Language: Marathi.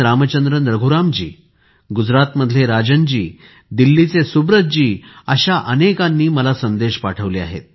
रामचंद्रन रघुराम जी गुजरातमधले राजन जी दिल्लीचे सुब्रत जी अशा अनेकांनी संदेश पाठवले आहेत